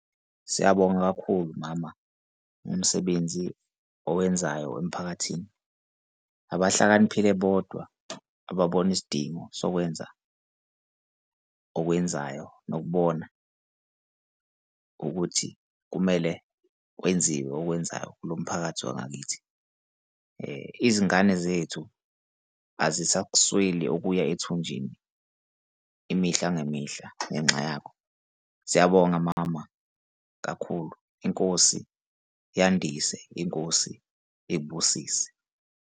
Siyabonga kakhulu mama umsebenzi owenzayo emphakathini. Abahlakaniphile bodwa ababona isidingo sokwenza okwenzayo nokubona ukuthi kumele kwenziwe okwenzayo kulo mphakathi wangakithi. Izingane zethu azisakusweli okuya ethunjini imihla ngemihla ngenxa yakho. Siyabonga mama kakhulu inkosi yandise, inkosi ikubusise.